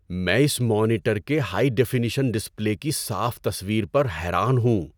میں اس مانیٹر کے ہائی ڈیفینیشن ڈسپلے کی صاف تصویر پر حیران ہوں۔